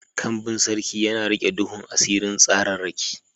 Kambin Sarki yana riƙe duhun asirin tsararraki.